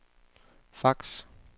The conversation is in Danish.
fax